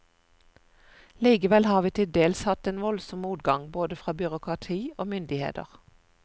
Likevel har vi til dels hatt en voldsom motgang, både fra byråkrati og myndigheter.